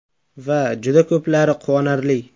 Va juda ko‘plari quvonarli.